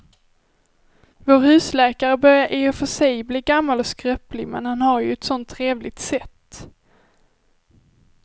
Vår husläkare börjar i och för sig bli gammal och skröplig, men han har ju ett sådant trevligt sätt!